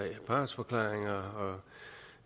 partsforklaringer